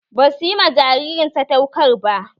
Ba suyi ma jaririn sadaukar ba